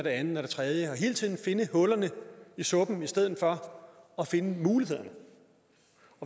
det andet og det tredje og hele tiden finde hårene i suppen i stedet for at finde mulighederne